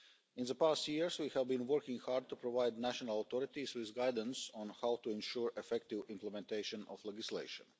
In the past years, we have been working hard to provide national authorities with guidance on how to ensure the effective implementation of legislation.